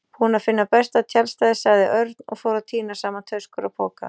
Búinn að finna besta tjaldstæðið sagði Örn og fór að tína saman töskur og poka.